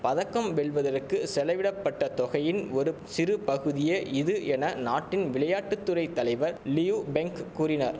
பதக்கம் வெல்வதற்கு செலவிடப்பட்ட தொகையின் ஒரு சிறுபகுதியே இது என நாட்டின் விளையாட்டு துறை தலைவர் லியு பெங் கூறினார்